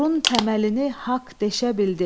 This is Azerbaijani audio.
Zorun təməlini haqq deşə bildi.